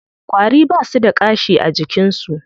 Ƙwari ba su da ƙashi a jikin su.